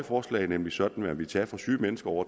forslag nemlig sådan at man ville tage fra syge mennesker og